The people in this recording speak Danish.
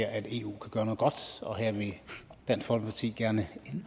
at eu kan gøre noget godt og her vil dansk folkeparti gerne